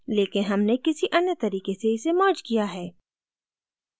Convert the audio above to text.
लेकिन हमने किसी अन्य तरीके से इसे merged किया है